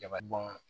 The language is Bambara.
Jaba dun ma